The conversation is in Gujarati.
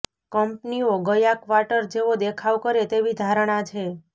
કંપનીઓ ગયા ક્વાર્ટર જેવો દેખાવ કરે તેવી ધારણા છે